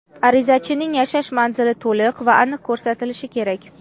Arizachining yashash manzili to‘liq va aniq ko‘rsatilishi kerak.